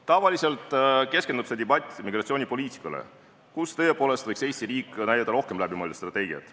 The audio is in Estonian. Tavaliselt keskendub see debatt migratsioonipoliitikale, kus tõepoolest võiks Eesti riik näidata rohkem läbimõeldud strateegiat.